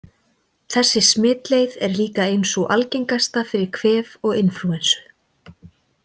Þessi smitleið er líka ein sú algengasta fyrir kvef og inflúensu.